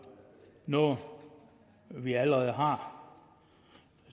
noget vi allerede har